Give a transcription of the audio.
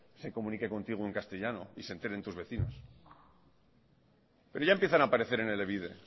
se comunique contigo en castellano y se enteren tus vecinos pero ya empiezan a aparecer en elebide